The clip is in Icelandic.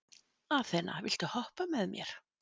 Aþena, viltu hoppa með mér?